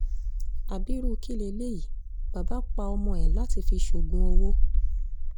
ábírú kí leléyìí bàbá pa ọmọ ẹ̀ láti fi ṣoògùn owó